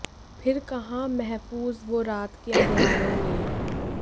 फिर कहाँ महफू ज़ वो रात के अंधियारों में